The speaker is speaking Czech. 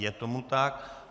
Je tomu tak.